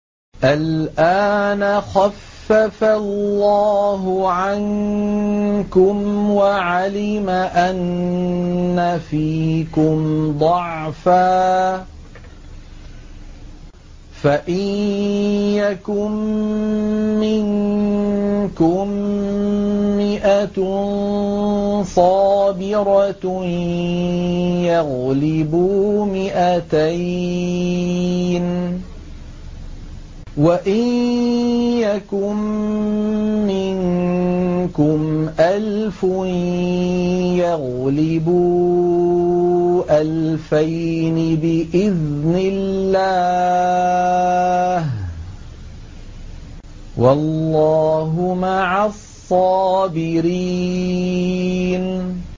الْآنَ خَفَّفَ اللَّهُ عَنكُمْ وَعَلِمَ أَنَّ فِيكُمْ ضَعْفًا ۚ فَإِن يَكُن مِّنكُم مِّائَةٌ صَابِرَةٌ يَغْلِبُوا مِائَتَيْنِ ۚ وَإِن يَكُن مِّنكُمْ أَلْفٌ يَغْلِبُوا أَلْفَيْنِ بِإِذْنِ اللَّهِ ۗ وَاللَّهُ مَعَ الصَّابِرِينَ